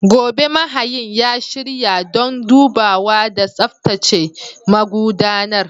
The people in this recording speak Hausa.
Gobe, mahayin ya shirya don dubawa da tsaftace magudanar.